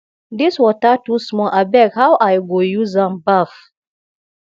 dis water too small abeg how i go use am baff